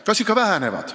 Kas ikka väheneb?